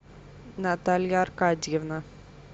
наталья аркадьевна